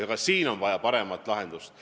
Ka siin on vaja paremat lahendust.